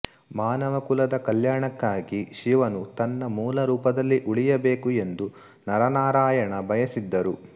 ಮಾನವಕುಲದ ಕಲ್ಯಾಣಕ್ಕಾಗಿ ಶಿವನು ತನ್ನ ಮೂಲ ರೂಪದಲ್ಲಿ ಉಳಿಯಬೇಕು ಎಂದು ನರನಾರಾಯಣ ಬಯಸಿದ್ದರು